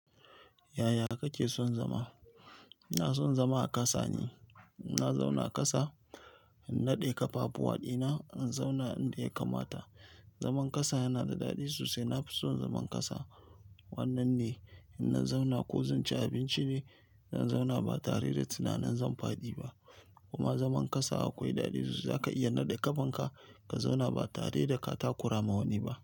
Yaya kake son zama? Ina son zama a ƙasa ne. Na zauna ƙasa, na nade kafafuwa dina, na zauna inda ya kamata. Zaman ƙasa yana da daɗi sosai. Na fi son zaman ƙasa. Wannan ne, in na zauna ko zan ci abinci ne, na zauna ba tare da tunanin zan faɗi ba. Kuma zaman ƙasa akwai daɗi sosai. Zaka iya naɗe ƙafanka ka zauna ba tare da ka takura ma wani ba.